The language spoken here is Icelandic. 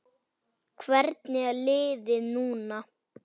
Hvernig er liðið núna?